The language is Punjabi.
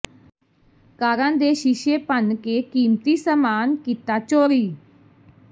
ਕਾਰਾਂ ਦੇ ਸ਼ੀਸ਼ੇ ਭੰਨ ਕੇ ਕੀਮਤੀ ਸਮਾਨ ਕੀਤਾ ਚੋਰੀ